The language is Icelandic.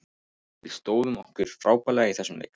Við stóðum okkur frábærlega í þessum leik.